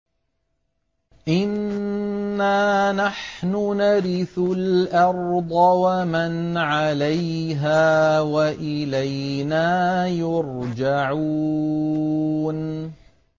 إِنَّا نَحْنُ نَرِثُ الْأَرْضَ وَمَنْ عَلَيْهَا وَإِلَيْنَا يُرْجَعُونَ